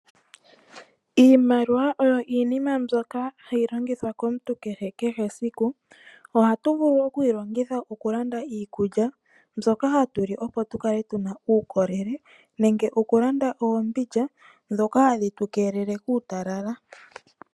Iimaliwa oyo iinima mbyoka hayi longithwa komuntu kehe kehe esiku. Ohatu vulu okuyi longitha okulanda iikulya, mbyoka hatu li opo tukale tuna uukolele, nenge okulanda oombindja, ndhoka hadhi tu keelele kuutalala.